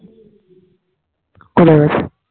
চলে গেছে